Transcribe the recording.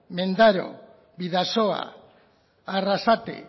mendaro bidasoa arrasate